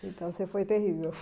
Então, você foi terrível.